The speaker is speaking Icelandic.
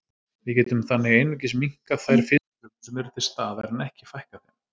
Við getum þannig einungis minnkað þær fitufrumur sem eru til staðar en ekki fækkað þeim.